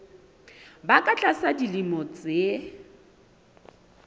ba ka tlasa dilemo tse